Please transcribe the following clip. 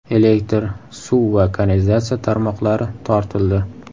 Elektr, suv va kanalizatsiya tarmoqlari tortildi.